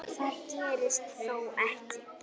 Finnst gler í berginu víða.